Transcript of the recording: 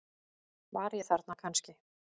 Var ég þarna kannski?